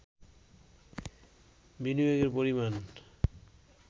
বিনিয়োগের পরিমাণ